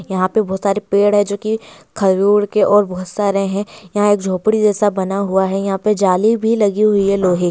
यहां पे बहुत सारे पेड़ है जो की खेजूड़ के और बहुत सारे हैं यहां एक झोपड़ी जैसा बना हुआ है यहां पर जाली भी लगी हुई है लोहे --